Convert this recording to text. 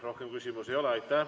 Rohkem küsimusi ei ole.